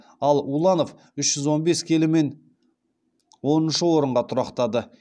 ал уланов үш жүз он бес келімен оныншы орынға тұрақтады